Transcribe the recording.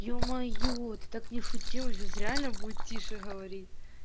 е-мое ты так не шути он сейчас реально будет тише говорить